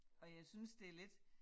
Og jeg synes det lidt